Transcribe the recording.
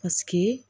Paseke